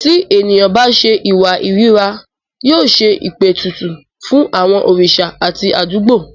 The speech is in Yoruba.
Ti ènìyàn bá ṣe ìwà ìríra, yóò ṣe ìpètùtù fún àwọn òrìṣà àti àdúgbò.